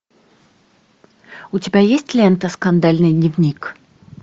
у тебя есть лента скандальный дневник